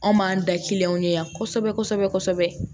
Anw m'an da kiliyanw ɲɛ yan kosɛbɛ kosɛbɛ